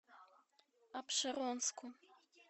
апшеронску